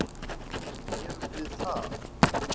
En erum við það?